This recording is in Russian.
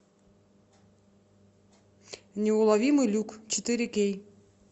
неуловимый люк четыре кей